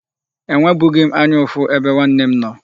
Enwebughị m anya ụfụ ebe nwanne m nọ.